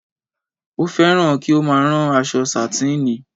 Ó fẹ́ràn kí ó má a rán aṣọ sàtíìnì